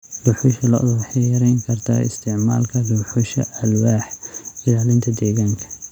Dhuxusha lo'da waxay yarayn kartaa isticmaalka dhuxusha alwaax, ilaalinta deegaanka.